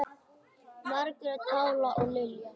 Margrét Pála og Lilja.